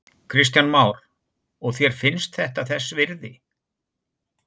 Kristján Már: Og þér finnst þetta þess virði?